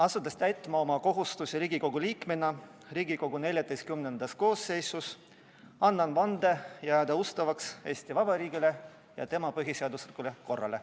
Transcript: Asudes täitma oma kohustusi Riigikogu liikmena Riigikogu XIV koosseisus, annan vande jääda ustavaks Eesti Vabariigile ja tema põhiseaduslikule korrale.